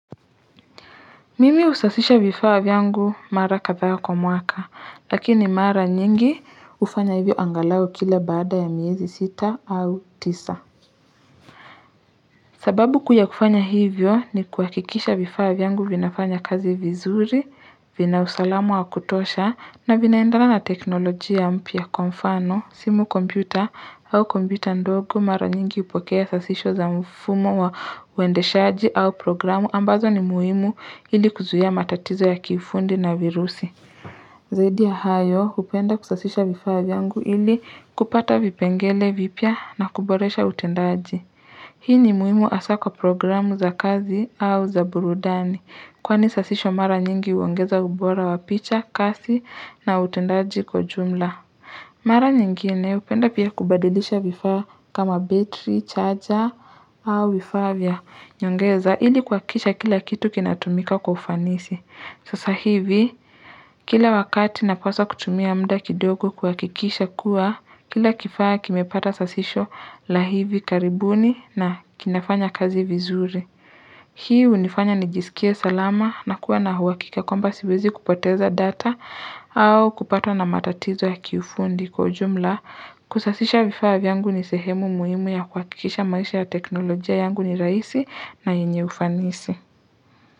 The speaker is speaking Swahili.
Mimi husasisha vifaa vyangu mara kadhaa wa kwa mwaka, lakini mara nyingi hufanya hivyo angalau kila baada ya miezi sita au tisa. Sababu kuu yakufanya hivyo ni kuhakikisha vifaa vyangu vinafanya kazi vizuri, vinausalamu wa kutosha na vinaendala na teknolojia mpya kwa mfano, simu kompyuta au kompyuta ndogo mara nyingi hupokea sasisho za mfumo wa waendeshaji au programu. Ambazo ni muhimu ili kuzuia matatizo ya kifundi na virusi. Zaidi ya hayo, hupenda kusasisha vifaa vyangu ili kupata vipengele vipya na kuboresha utendaji. Hii ni muhimu hasa kwa programu za kazi au za burudani. Kwani sasisho mara nyingi huongeza ubora wa picha, kasi na utendaji kwa jumla. Mara nyingine hupenda pia kubadilisha vifaa kama battery, charger au vifaa vya nyongeza ili kuhakisha kila kitu kinatumika kwa ufanisi. Sasa hivi, kila wakati napaswa kutumia mda kidogo kuhakikisha kuwa, kila kifaa kimepata sasisho la hivi karibuni na kinafanya kazi vizuri. Hii hunifanya nijisikie salama na kuwa na huakika kwamba siwezi kupoteza data au kupatwa na matatizo ya kifundi kwa ujumla. Kusasisha vifaa vyangu ni sehemu muhimu ya kuhakikisha maisha ya teknolojia yangu ni rahisi na yenye ufanisi.